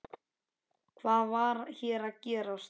Hvað var hér að gerast?